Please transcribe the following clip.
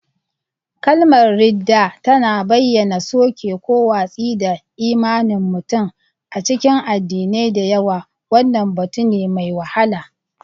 Kalmar “ridda” tana bayyana soke ko watsi da imanin mutum; a cikin addinai da yawa, wannan batu ne mai wahala.